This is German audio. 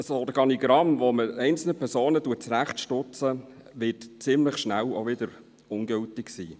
Ein Organigramm, mit dem man einzelne Personen zurechtstutzt, wird ziemlich schnell auch wieder ungültig sein.